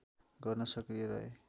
गर्न सक्रिय रहे